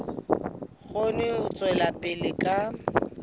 kgone ho tswela pele ka